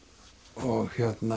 og